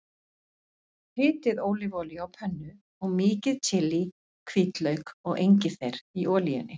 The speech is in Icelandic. Hitið ólífuolíu á pönnu og mýkið chili, hvítlauk og engifer í olíunni.